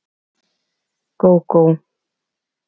Gógó